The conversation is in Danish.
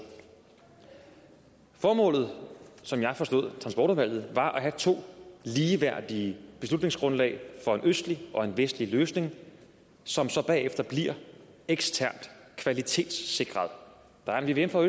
formålet som jeg forstod transportudvalget var at have to ligeværdige beslutningsgrundlag for en østlig og en vestlig løsning som så bagefter bliver eksternt kvalitetssikret der er en vvm for